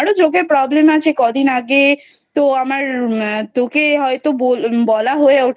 আমারও চোখের Problem আছে কদিন আগে তো আমার তোকে হয়তো বলা হয়ে ওঠেনি